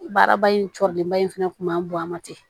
Baaraba in cɔlenba in fɛnɛ kun b'an bonya ten